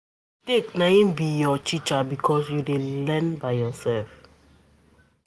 mistake na im go be your teacher because you dey learn by yourself